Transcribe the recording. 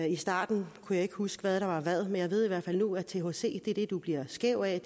i starten kunne jeg ikke huske hvad der var hvad men jeg ved i hvert fald nu at thc er det du bliver skæv af